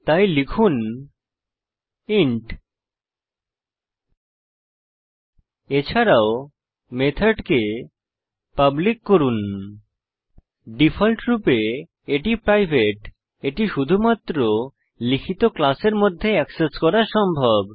তাই লিখুন ইন্ট এছাড়াও মেথডকে পাবলিক করুন ডিফল্টরূপে এটি প্রাইভেট এটি শুধুমাত্র লিখিত ক্লাসের মধ্যে এক্সেস করা সম্ভব